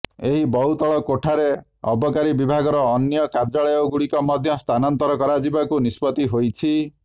ଏହି ବହୁତଳ କୋଠାରେ ଅବକାରୀ ବିଭାଗର ଅନ୍ୟ କାର୍ଯ୍ୟାଳୟଗୁଡ଼ିକ ମଧ୍ୟ ସ୍ଥାନାନ୍ତର କରାଯିବାକୁ ନିଷ୍ପତ୍ତି ହୋଇଛି